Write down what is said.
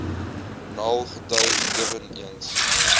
naln getuig eweneens